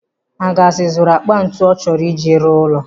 Angus zụrụ akpa ntụ ọ chọrọ ị ji rụọ ụlọ.